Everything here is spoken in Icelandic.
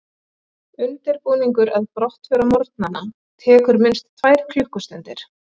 Undirbúningur að brottför á morgnana tekur minnst tvær klukkustundir.